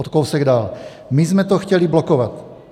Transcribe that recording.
O kousek dál: "My jsme to chtěli blokovat.